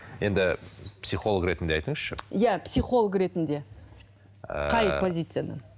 енді психолог ретінде айтыңызшы иә психолог ретінде ыыы қай позициядан